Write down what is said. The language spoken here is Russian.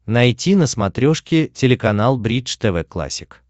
найти на смотрешке телеканал бридж тв классик